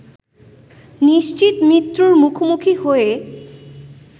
নিশ্চিত মৃত্যুর মুখোমুখি হয়ে